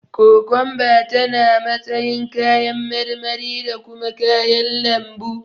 Kokomba tana matsayin kayan marmari da kuma kayan lambu.